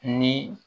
Ni